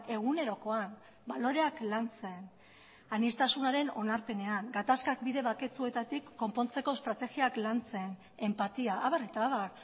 egunerokoan baloreak lantzen aniztasunaren onarpenean gatazkak bide baketsuetatik estrategiak lantzen enpatia abar eta abar